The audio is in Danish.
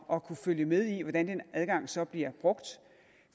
at kunne følge med i hvordan den adgang så bliver brugt